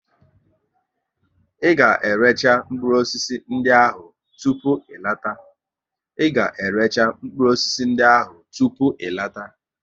Ị ga récha mkpụrụ osisi ndị ahụ tupu ị lọta!